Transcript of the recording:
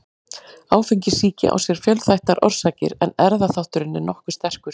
Áfengissýki á sér fjölþættar orsakir en erfðaþátturinn er nokkuð sterkur.